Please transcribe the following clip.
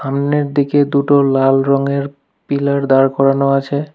সামনের দিকে দুটো লাল রঙের পিলার দাঁড় করানো আছে।